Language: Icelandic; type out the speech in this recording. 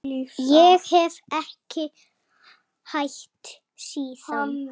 Ég hef ekki hætt síðan.